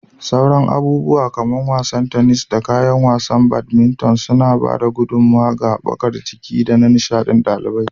Sauran abubuwa kamar wasan tennis, da kayan wasan badminton suna ba da gudummawa ga haɓakar jiki da na nishaɗin ɗalibai.